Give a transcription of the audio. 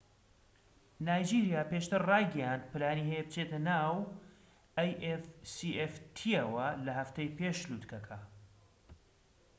نایجیریا پێشتر ڕایگەیاند پلانی هەیە بچێتە ناو afcfta ەوە لە هەفتەی پێش لوتکەکە